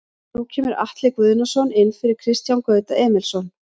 Nú kemur Atli Guðnason inn fyrir Kristján Gauta Emilsson.